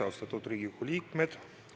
Austatud Riigikogu liikmed!